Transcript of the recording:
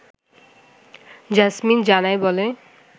jasmine জানায় বলে